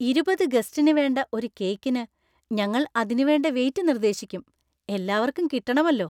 ഇരുപത് ഗസ്റ്റിന് വേണ്ട ഒരു കേക്കിന്, ഞങ്ങൾ അതിനു വേണ്ട വെയിറ്റ് നിര്‍ദേശിക്കും. എല്ലാവർക്കും കിട്ടണമല്ലോ!